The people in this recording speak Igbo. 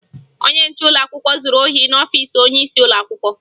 Onye nche ụlọakwụkwọ zuru ohi n'ọfiisi onyeisi ụlọakwụkwọ